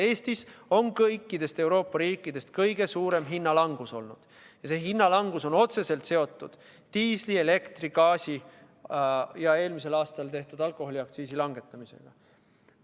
Eestis on olnud kõikidest Euroopa riikidest kõige suurem hinnalangus ja see on otseselt seotud diisli-, elektri- ja gaasi- ning eelmisel aastal alkoholiaktsiisi langetamisega.